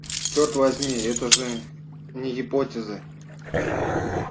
чёрт возьми это же не гипотеза